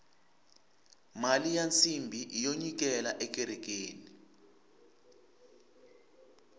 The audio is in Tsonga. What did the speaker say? mali ya nsimbhi iyo nyikela ekerekeni